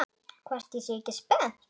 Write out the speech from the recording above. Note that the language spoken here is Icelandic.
Hvort ég sé ekki spennt?